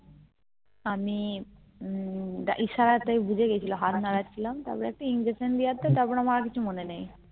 তো আমি উম ইশারা তে বুঝে গেছিলো হাত নাড়াচ্ছিলাম তারপর একটা injection দিতে তারপর আর কিছু মনে নেই